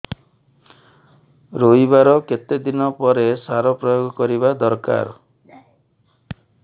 ରୋଈବା ର କେତେ ଦିନ ପରେ ସାର ପ୍ରୋୟାଗ କରିବା ଦରକାର